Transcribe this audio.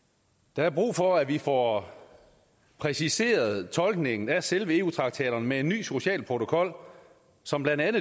der er brug for at vi får præciseret tolkningen af selve eu traktaterne med en ny social protokol som blandt andet